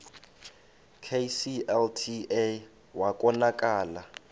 kclta wa konakala